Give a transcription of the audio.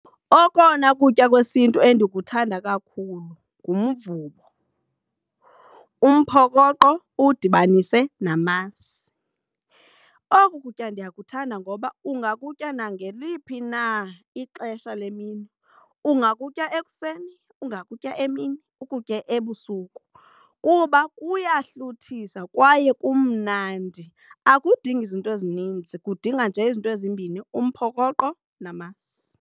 Okona kutya kwesiNtu endikuthanda kakhulu ngumvubo, umphokoqo uwudibanise namasi. Oku kutya ndiyakuthanda ngoba ungakutya nangeliphi na ixesha le mini, ungakutya ekuseni, ungakutya emini, ukutye ebusuku kuba kuyahluthisa kwaye kumnandi. Akudingi izinto ezininzi kudinga nje izinto ezimbini umphokoqo namasi.